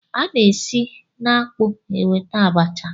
A na-esi na akpụ enweta abacha.